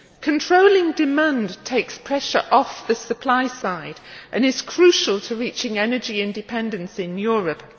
Controlling demand takes pressure off the supply side and is crucial to reaching energy independence in Europe.